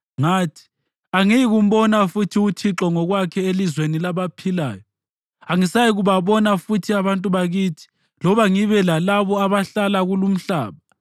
Ngathi, “Angiyikumbona futhi uThixo ngokwakhe elizweni labaphilayo; angisayikubabona futhi abantu bakithi loba ngibe lalabo abahlala kulumhlaba.